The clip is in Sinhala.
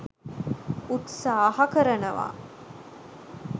උත්සාහ කරනවා.